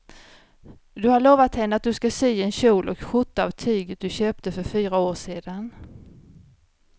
Du har lovat henne att du ska sy en kjol och skjorta av tyget du köpte för fyra år sedan.